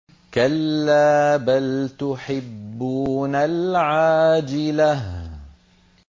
كَلَّا بَلْ تُحِبُّونَ الْعَاجِلَةَ